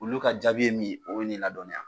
Olu ka jaabi ye min ,o be n'i ladɔnya.